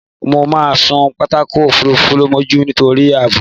Mo máà sun pápákọ̀-òfurufú mọ́jú nítorí ààbò.